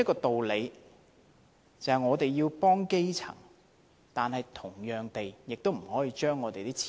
主席，我們要幫助基層，但亦不能亂花金錢。